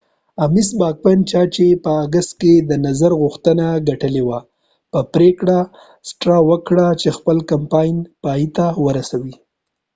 باکمن چا چې په آګست کې د ames straw نظر غوښتنه ګټلې وه پریکړه وکړه چې خپل کمپاین پایته ورسوي